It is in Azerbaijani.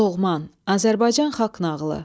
Loğman, Azərbaycan xalq nağılı.